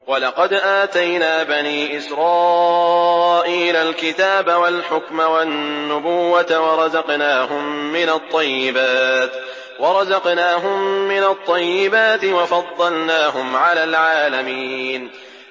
وَلَقَدْ آتَيْنَا بَنِي إِسْرَائِيلَ الْكِتَابَ وَالْحُكْمَ وَالنُّبُوَّةَ وَرَزَقْنَاهُم مِّنَ الطَّيِّبَاتِ وَفَضَّلْنَاهُمْ عَلَى الْعَالَمِينَ